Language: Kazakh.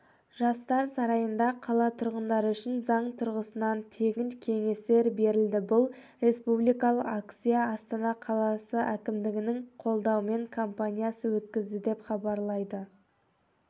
жастар сарайында қала тұрғындары үшін заң тұрғысынан тегін кеңестер берілді бұл республикалық акция астана қаласы әкімдігінің қолдауымен компаниясы өткізді деп хабарлайды